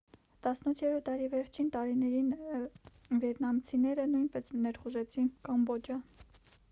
18-րդ դարի վերջին տարիներին վիետնամցիները նույնպես ներխուժեցին կամբոջա